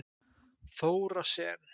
Þóra Sen.